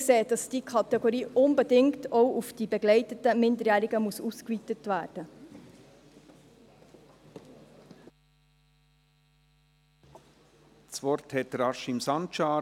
Wir sehen, dass diese Kategorie unbedingt auch auf die begleiteten Minderjährigen ausgeweitet werden muss.